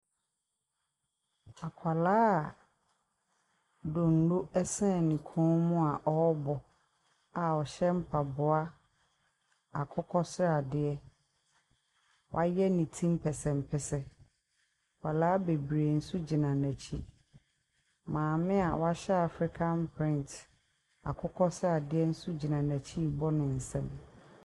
Akwadaa a donnoo san ne kɔn mu a ɛrebɔ a ɔhyɛ mpaboa akokɔsradeɛ, wayɛ ne ti mpɛsɛmpɛsɛ. nkwadaa bebree nso gyina n’akyi. Maame a wahyɛ African print akokɔsradeɛ nso gyina n’akyi ɛrebɔ ne nsam.